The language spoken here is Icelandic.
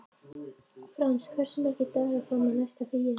Frans, hversu margir dagar fram að næsta fríi?